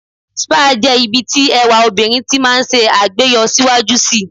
Spa jẹ́ ibi tí ẹwà obìnrin ti máa ń ṣe àgbéyọ síwájú si.